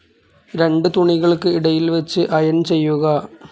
രണ്ടു തുണികൾക്ക് ഇടയിൽ വെച്ച് ഇറോൺ ചെയ്യുക.